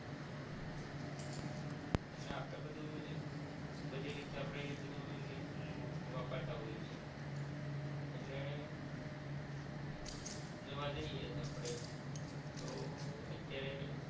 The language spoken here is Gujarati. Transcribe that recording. એટલે આપરે બધુ બધી રીતે આપણે બધુ વાપરતા હોઈએ છે એટલે જોવા જઇયે તો આપણે તો અત્યારે